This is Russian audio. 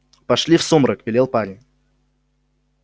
пошли в сумрак велел парень